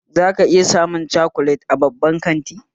Zaka iya samun cokolati a babban kanti